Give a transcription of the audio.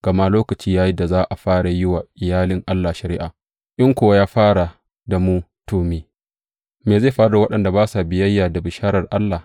Gama lokaci ya yi da za a fara yi wa iyalin Allah shari’a; in kuwa ya fara da mu, to, me zai faru da waɗanda ba sa biyayya da bisharar Allah?